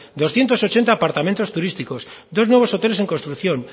doscientos ochenta apartamentos turísticos dos nuevos hoteles en construcción